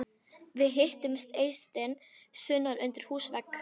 Við hittum Eystein sunnan undir húsvegg.